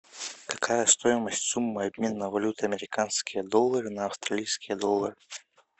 какая стоимость суммы обмена валюты американские доллары на австралийские доллары